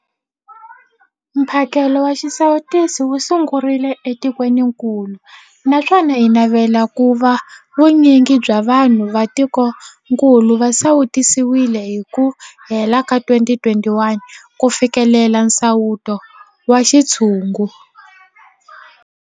Mphakelo wa xisawutisi wu sungurile etikwenikulu naswona hi navela ku va vu nyingi bya vanhu va tikokulu va sawutisiwile hi ku hela ka 2021 ku fikelela nsawuto wa xintshungu.